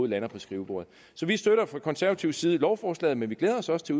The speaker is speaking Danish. lander på skrivebordet så vi støtter fra konservativ side lovforslaget men vi glæder os også til